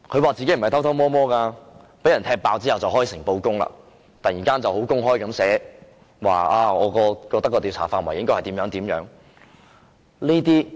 他說他不是偷偷摸摸，被人"踢爆"後便開誠布公，突然公開表示他覺得調查範圍應該怎樣。